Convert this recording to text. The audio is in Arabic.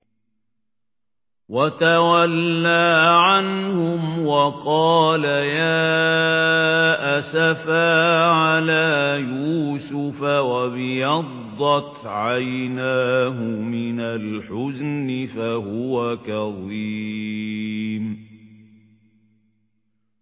وَتَوَلَّىٰ عَنْهُمْ وَقَالَ يَا أَسَفَىٰ عَلَىٰ يُوسُفَ وَابْيَضَّتْ عَيْنَاهُ مِنَ الْحُزْنِ فَهُوَ كَظِيمٌ